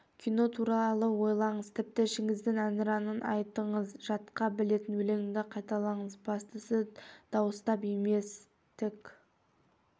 кино туралы ойлаңыз тіпті ішіңізден әнұранын айтыңыз жатқа білетін өлеңді қайталаңыз бастысы дауыстап емес тк